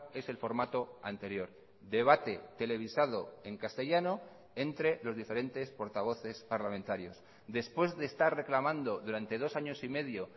es el formato anterior debate televisado en castellano entre los diferentes portavoces parlamentarios después de estar reclamando durante dos años y medio